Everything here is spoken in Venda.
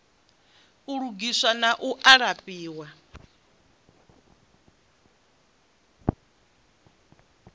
u lugiswa na u alafhiwa